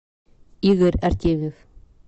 игорь артемьев